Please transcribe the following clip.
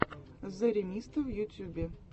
зэремисто в ютюбе